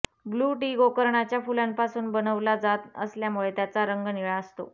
blue tea गोकर्णाच्या फुलांपासून बनवला जात असल्यामुळे त्याचा रंग निळा असतो